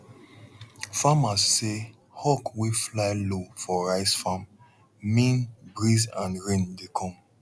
farmers say hawk wey fly low for rice farm mean breeze and rain dey come